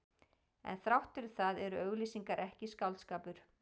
En þrátt fyrir það eru auglýsingar ekki skáldskapur.